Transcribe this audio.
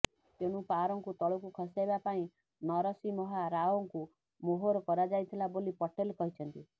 ତେଣୁ ପାଓ୍ୱାରଙ୍କୁ ତଳକୁ ଖସାଇବା ପାଇଁ ନରସିମହା ରାଓଙ୍କୁ ମୋହରା କରାଯାଇଥିଲା ବୋଲି ପଟେଲ କହିଛନ୍ତି